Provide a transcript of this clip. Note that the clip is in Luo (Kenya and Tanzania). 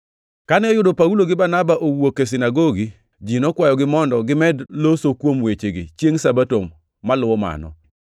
Kane oyudo Paulo gi Barnaba wuok e sinagogi, ji nokwayogi mondo gimed loso kuom wechegi chiengʼ Sabato moluwo mano.